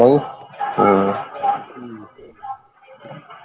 ਨਹੀਂ ਹਮ